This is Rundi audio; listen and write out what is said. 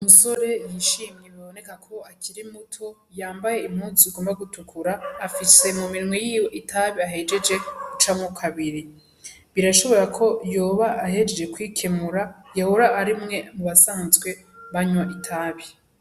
Umusore yishimye biboneka kwakiri muto yambaye impuzu igomba gutukura, afise mu minwe yiwe itabi ahejeje gucamwo kabiri. Birashoka ko yoba ahejeje kwikenura, yoba ari umwe mu basanzwe banwa itabi.